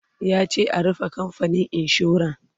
yace a "rufe kamfanin insuran!"